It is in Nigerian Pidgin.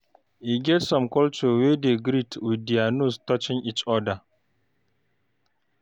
E get some culture wey dey greet with their nose touching each other